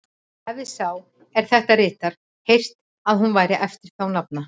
Hefir sá, er þetta ritar, heyrt, að hún væri eftir þá nafna